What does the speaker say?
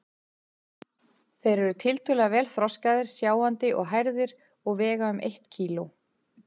Þeir eru tiltölulega vel þroskaðir, sjáandi og hærðir og vega um eitt kíló.